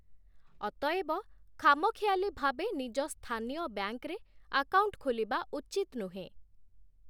ଅତଏବ ଖାମଖିଆଲି ଭାବେ ନିଜ ସ୍ଥାନୀୟ ବ୍ୟାଙ୍କରେ ଆକାଉଣ୍ଟ ଖୋଲିବା ଉଚିତ୍ ନୁହେଁ ।